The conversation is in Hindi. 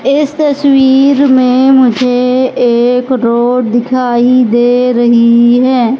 इस तस्वीर में मुझे एक रोड दिखाई दे रही है।